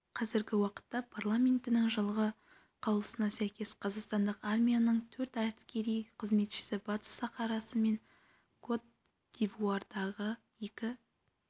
қазіргі уақытта парламентінің жылғы қаулысына сәйкес қазақстандық армияның төрт әскери қызметшісі батыс сахарасы мен кот-дивуардағы екі